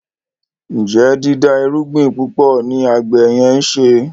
Njé dida irúgbìn púpọ ní àgbè yen nṣe?